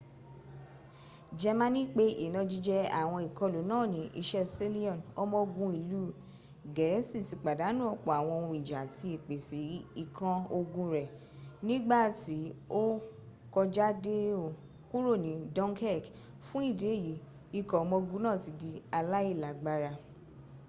jẹmaní pẹ ìnajíjẹ́ àwọn ìkolù náà ní isẹ́ sealion ọmọ ogun iìú gẹ̀ẹ́si ti pàdánù ọ̀pọ̀ àwọn ohun ìjà àti ìpẹ̀sẹ̀ ikan ogun rẹ nígbàtí o kójádẹo kúrò ní dunkirk fún ìdí èyí ikọ̀ ọmọ ogun náà ti di alàílágbára